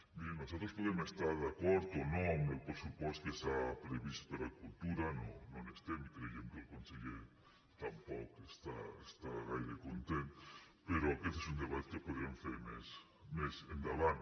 miri nosaltres podem estar d’acord o no amb el pressupost que s’ha previst per a cultura no n’estem i creiem que el conseller tampoc està gaire content però aquest és un debat que podrem fer més endavant